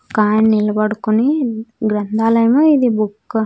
ఒకాయిన నిలబడుకొని గ్రంథాలయము ఇది బుక్కు .